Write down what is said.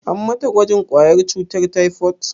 An mata gwajin ƙwayar cutar taifot?